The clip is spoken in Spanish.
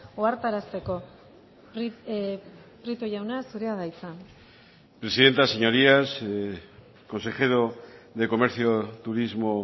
ohartarazteko prieto jauna zurea da hitza presidenta señorías consejero de comercio turismo